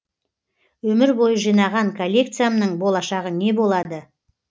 өмір бойы жинаған коллекциямның болашағы не болады